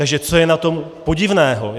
Takže co je na tom podivného?